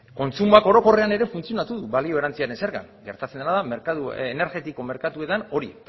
kontsumoak orokorrean ere funtzionatu du balio erantsiaren zergan gertatzen dena da merkatu energetiko merkatuetan hori